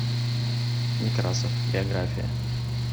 некрасов биография